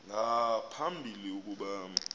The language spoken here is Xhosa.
nga phambili ukuba